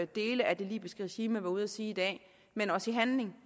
dele af det libyske regime være ude at sige i dag men også i handling